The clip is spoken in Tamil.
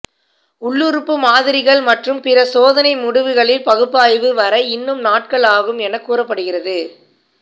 உள்ளுறுப்பு மாதிரிகள் மற்றும் பிற சோதனை முடிவுகளின் பகுப்பாய்வு வர இன்னும் நாட்கள் ஆகும் என கூறப்படுகிறது